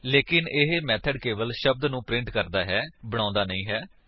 ਲੇਕਿਨ ਇਹ ਮੇਥਡ ਕੇਵਲ ਸ਼ਬਦ ਨੂੰ ਪ੍ਰਿੰਟ ਕਰਦਾ ਹੈ ਲੇਕਿਨ ਬਣਾਉਂਦਾ ਨਹੀਂ ਹੈ